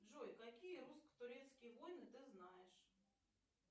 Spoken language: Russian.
джой какие русско турецкие войны ты знаешь